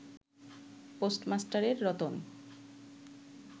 পোস্টমাস্টারের Ratan